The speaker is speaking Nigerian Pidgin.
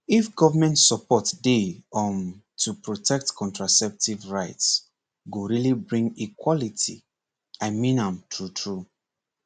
if government support dey um to protect contraceptive rights go really bring equality i mean am true true